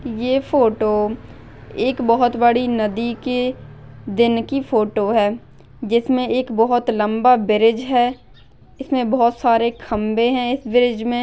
ये फोटो एक बहुत बड़ी नदी के दिन की फोटो है जिसमे एक बहुत लंबा ब्रिज है इसमे बहुत सारे खंबे है इस ब्रिज मे--